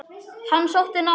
Hann sótti námið.